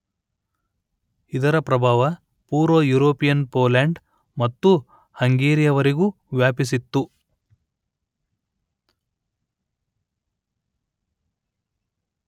ಇದರ ಪ್ರಭಾವ ಪುರ್ವ ಯುರೋಪಿಯನ್ ಪೋಲೆಂಡ್ ಮತ್ತು ಹಂಗೆರಿಯವರೆಗೂ ವ್ಯಾಪಿಸಿತ್ತು